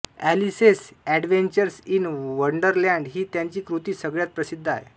Alice's Adventures in Wonderland ही त्याची कृती सगळ्यात प्रसिद्ध आहे